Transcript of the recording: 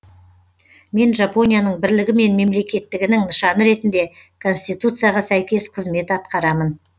мен жапонияның бірлігі мен мемлекеттігінің нышаны ретінде конституцияға сәйкес қызмет атқарамын